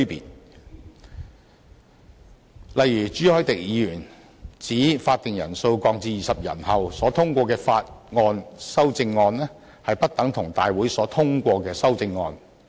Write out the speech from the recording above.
舉例而言，朱凱廸議員指會議法定人數降至20人後所通過的法案修正案，不等同立法會大會所通過的修正案。